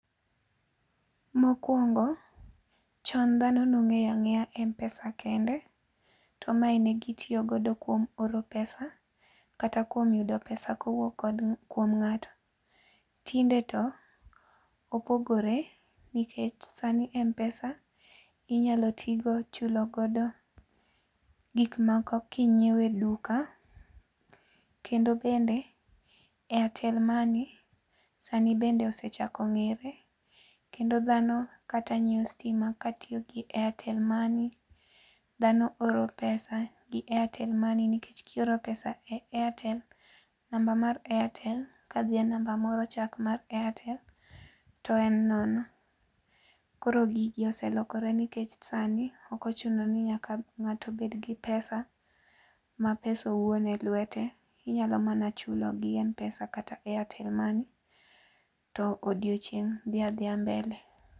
Mokwongo, chon dhano nong'eya ng'eya mpesa kende. To mae ne gitiyo godo kuomo oro pesa kata kuom yudo pesa kowuok kod kuom ng'ato. Tinde to, opogore nikech sani mpesa inyalo ti go chulo godo, gik moko kinyiewe e duka, kendo bende airtel money bende, airtel money, sani bende osechako ng'ere, kendo dhano kata nyiewo stima katiyo gi airtel money, dhano oro pesa gi airtel money nikech kioro pesa e airtel, namba mar airtel ka dhie e namba morocha mok mar airtel, to en nono. Koro gigi oselokore nikech sani okochuno ni nyaka ng'ato obed gi pesa, ma pesa owuon e lwete, inyalo mana chulo gi mpesa kata airtel money to odiechieng' dhia dhia mbele.